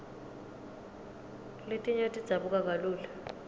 letinye tidzabuka kalula